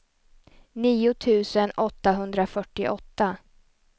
nio tusen åttahundrafyrtioåtta